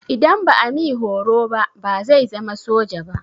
Idan ba a mi horo ba bazai zama soja ba.